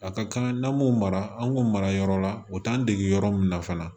A ka kan n'an m'o mara an k'o mara yɔrɔ la o t'an dege yɔrɔ min na fana